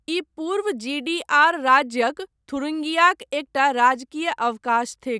ई पूर्व जीडीआर राज्यक थुरिंगियाक एकटा राजकीय अवकाश थिक।